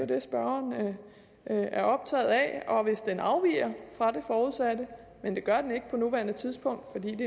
det spørgeren er optaget af og hvis den afviger fra det forudsatte men det gør den ikke på nuværende tidspunkt